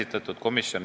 Austatud juhataja!